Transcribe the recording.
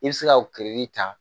I bɛ se ka ta